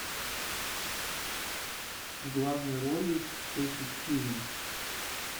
в главной роли кэти стивенс